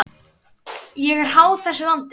Ég er háð þessu landi.